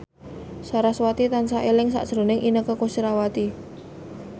sarasvati tansah eling sakjroning Inneke Koesherawati